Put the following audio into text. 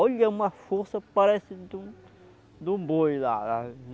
Olha, uma força parece de um, de um boi lá.